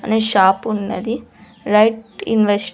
అని షాపున్నది right invest --